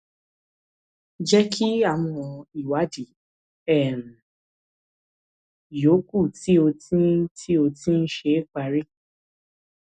jẹ kí àwọn ìwádìí um yòókù tí ó ń tí ó ń ṣe parí